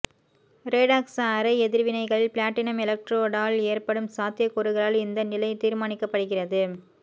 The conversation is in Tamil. ரேடாக்ஸ் அரை எதிர்வினைகளில் பிளாட்டினம் எலக்ட்ரோடால் ஏற்படும் சாத்தியக்கூறுகளால் இந்த நிலை தீர்மானிக்கப்படுகிறது